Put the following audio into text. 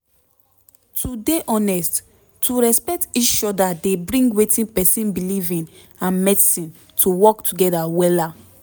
to dey honest to respect each oda dey bring wetin pesin belief in and medicine to work together wellla